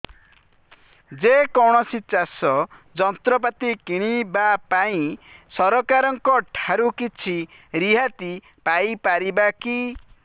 ଯେ କୌଣସି ଚାଷ ଯନ୍ତ୍ରପାତି କିଣିବା ପାଇଁ ସରକାରଙ୍କ ଠାରୁ କିଛି ରିହାତି ପାଇ ପାରିବା କି